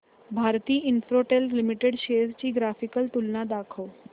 Bharti Infratel limited shares ची graphical तुलना दाखव